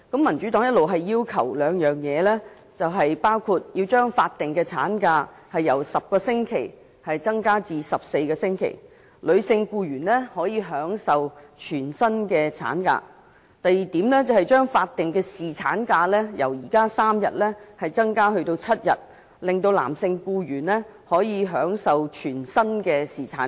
民主黨一直提出兩項要求：第一、將法定產假由10周增加至14周，女性僱員可享全薪產假；第二、將法定侍產假由現行的3天增加至7天，男性僱員可享全薪侍產假。